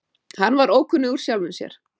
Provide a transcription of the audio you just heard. Hann var ókunnugur sjálfum sér.